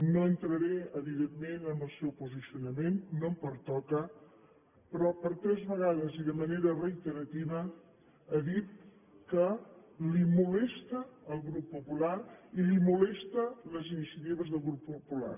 no entraré evidentment en el seu posicionament no em pertoca però per tres vegades i de manera reiterativa ha dit que li molesta el grup popular i li molesten les iniciatives del grup popular